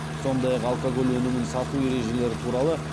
сондай ақ алкоголь өнімін сату ережелері туралы